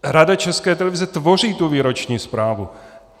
Rada České televize tvoří tu výroční zprávu.